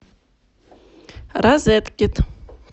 розеткед